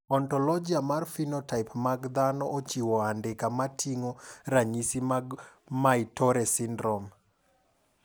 Ontologia mar phenotype mag dhano ochiwo andika moting`o ranyisi mag Muir Torre syndrome.